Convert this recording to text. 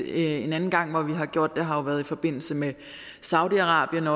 en anden gang hvor vi har gjort det har jo været i forbindelse med saudi arabien